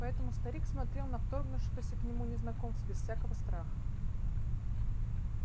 поэтому старик смотрел на вторгнувшегося к нему незнакомца без всякого страха